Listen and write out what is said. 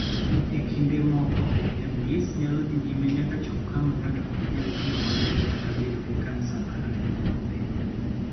E kinde moko, MDS nyalo dhi nyime nyaka chop kama ng�ato ok nyal tiyo maber kata bedo gi kansa mar remo mapek.